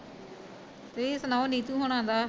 ਤੁਸੀਂ ਸੁਣਾਓ ਨੀਤੂ ਹੁਣਾ ਦਾ?